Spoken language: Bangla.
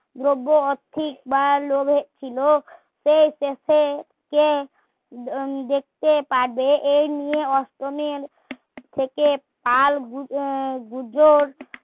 যজ্ঞ আর্থিক বা লোভে ছিলো সেই দেশে এই নিয়ে কাল